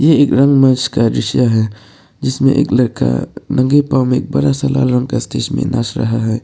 ये एक रंग मंच का दृश्य है जिसमें एक लड़का नंगे पांव एक बड़ा सा लाल का स्टेज में नाच रहा है।